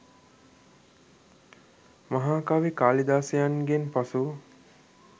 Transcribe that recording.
මහා කවි කාලිදාසයන්ගෙන් පසු